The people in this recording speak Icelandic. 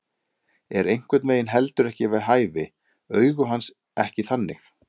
Er einhvern veginn heldur ekki við hæfi, augu hans ekki þannig.